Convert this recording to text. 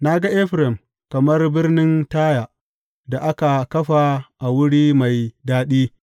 Na ga Efraim, kamar birnin Taya, da aka kafa a wuri mai daɗi.